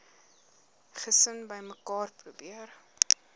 gesin bymekaar probeer